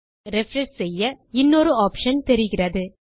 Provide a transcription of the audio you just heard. ஆகவே ரிஃப்ரெஷ் செய்ய இன்னொரு ஆப்ஷன் தெரிகிறது